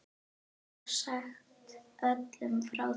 Og sagt öllum frá því.